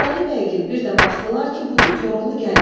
Bolu bəygil bir də baxdılar ki, budur, Koroğlu gəlir.